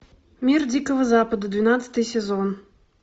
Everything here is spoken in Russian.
мир дикого запада двенадцатый сезон